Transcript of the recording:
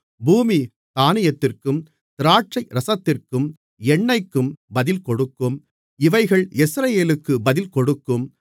பூமி தானியத்திற்கும் திராட்சைரசத்திற்கும் எண்ணெய்க்கும் பதில்கொடுக்கும் இவைகள் யெஸ்ரயேலுக்கும் பதில் கொடுக்கும்